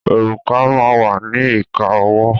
Òrùka máa wà ní ìka ọwọ́.